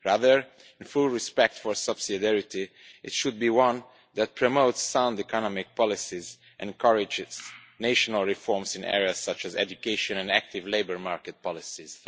Rather, in full respect for subsidiarity, it should be one that promotes sound economic policies and encourages national reforms in areas such as education and active labour market policies.